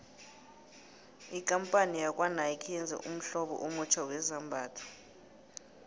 ikampani yakwanike yenze ummhlobo omutjha wezambhatho